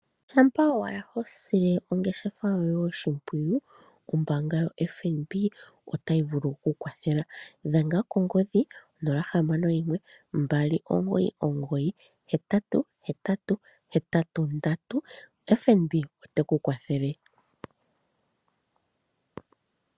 Shampa owala hosile ongeshefa yoye oshimpwiyu ombaanga yoFNB otayi vulu okukwathela dhenga kongodhi 0612998883, FNB ote kukwathele.